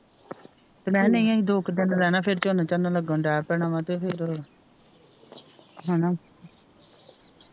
ਮੈ ਕਿਹਾ ਨਹੀਂ ਅਸੀ ਦੋ ਕ ਦਿਨ ਈ ਰਹਿਣਾ ਫਿਰ ਝੋਨਾ ਝੁਨਾ ਲਗਣ ਦੇ ਪੈਣਾ ਵਾ ਤੇ ਫਿਰ ਹੇਨਾ